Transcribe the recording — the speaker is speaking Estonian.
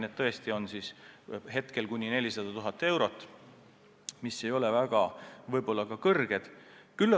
Need trahvid tõesti on kuni 400 000 eurot, mis ehk ei ole väga suur summa.